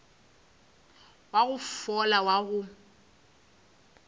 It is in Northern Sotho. wa go fola wa go